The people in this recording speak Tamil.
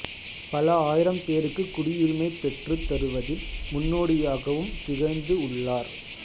பல ஆயிரம் பேருக்கு குடியுரிமை பெற்றுத் தருவதில் முன்னோடியாகவும் திகழ்ந்து உள்ளார்